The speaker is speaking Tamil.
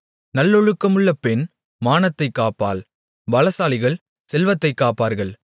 நல்லொழுக்கமுள்ள பெண் மானத்தைக் காப்பாள் பலசாலிகள் செல்வத்தைக் காப்பார்கள்